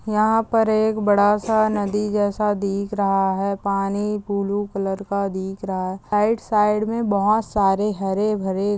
यहा पर एक बड़ा सा नदी जेसा दिख रहा है। पानी ब्लू कलर का दिख रहा है। साइड साइड मे बोहोत सारे हरे भरे--